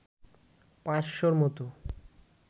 পাঁচশ’র মতো